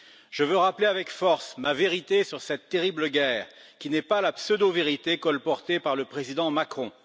Je veux rappeler avec force ma vérité sur cette terrible guerre qui n'est pas la pseudo vérité colportée par le président Macron.